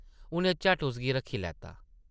उʼनें झट्ट उसगी रक्खी लैता ।